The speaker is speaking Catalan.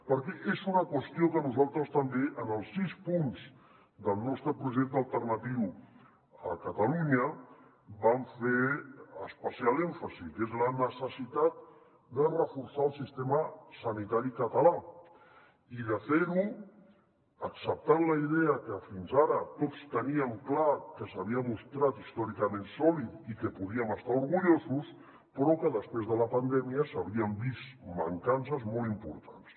perquè és una qüestió a què nosaltres també en els sis punts del nostre projecte alternatiu a catalunya vam fer especial èmfasi que és la necessitat de reforçar el sistema sanitari català i de fer ho acceptant la idea que fins ara tots teníem clar que s’havia mostrat històricament sòlid i que podíem estar orgullosos però que després de la pandèmia s’havien vist mancances molt importants